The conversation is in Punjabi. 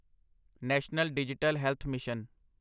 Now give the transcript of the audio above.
national digital health mission